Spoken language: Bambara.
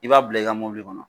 I b'a bila i ka kɔnɔ.